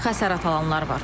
Xəsarət alanlar var.